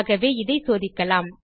ஆகவே இதை சோதிக்கலாம்